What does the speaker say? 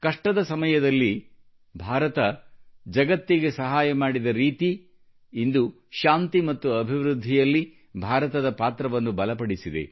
ಕಷ್ಟದ ಸಮಯದಲ್ಲಿ ಭಾರತವು ಜಗತ್ತಿಗೆ ಸಹಾಯ ಮಾಡಿದ ರೀತಿ ಇಂದು ಶಾಂತಿ ಮತ್ತು ಅಭಿವೃದ್ಧಿಯಲ್ಲಿ ಭಾರತದ ಪಾತ್ರವನ್ನು ಬಲಪಡಿಸಿದೆ